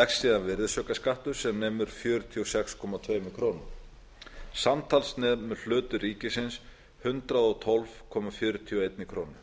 leggst síðan virðisaukaskattur sem nemur fjörutíu og sex komma tvær krónur samtals nemur hlutur ríkisins hundrað og tólf komma fjörutíu og eina krónu